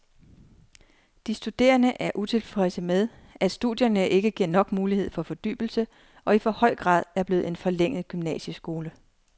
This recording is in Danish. De studerende er utilfredse med, at studierne ikke giver nok mulighed for fordybelse og i for høj grad er blevet en forlænget gymnasieskole.